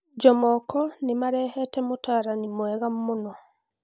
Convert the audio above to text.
Jomoko Fc nimarehete mũtaarani mwega mũno